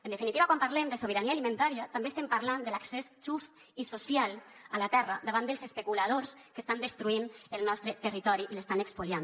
en definitiva quan parlem de sobirania alimentària també estem parlant de l’accés just i social a la terra davant dels especuladors que estan destruint el nostre territori i l’estan espoliant